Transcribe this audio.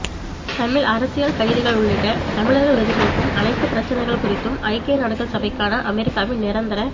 தமிழ் அரசியல் கைதிகள் உள்ளிட்ட தமிழர்கள் எதிர்நோக்கும் அனைத்து பிரச்சினைகள் குறித்தும் ஐக்கிய நாடுகள் சபைக்கான அமெரிக்காவின் நிரந்தர